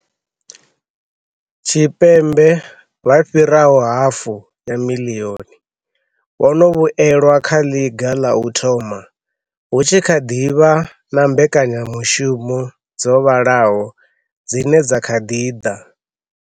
Tshipembe vha fhiraho hafu ya miḽioni vho no vhuelwa kha ḽiga ḽa u thoma, hu tshi kha ḓi vha na mbekanyamushumo dzo vhalaho dzine dza kha ḓi ḓa.